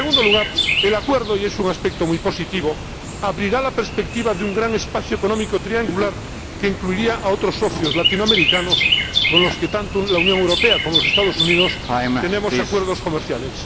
En segundo lugar, el Acuerdo —y es un aspecto muy positivo— abrirá la perspectiva de un gran espacio económico triangular que incluiría a otros socios latinoamericanos con los que, tanto la Unión Europea como los Estados Unidos, tenemos acuerdos comerciales.